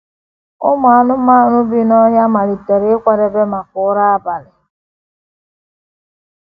Ụmụ anụmanụ bi n’ọhịa malitere ịkwadebe maka ụra abalị.